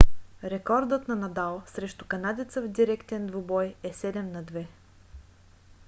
рекордът на надал срещу канадеца в директен двубой е 7–2